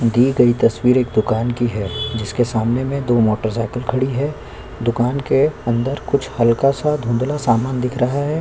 दी गई तस्वीर एक दुकाने की है जिसके सामने में दो मोटरसाइकिल खड़ी है दुकान के अंदर कुछ हल्का सा धुंधला सा समान दिख रहा है।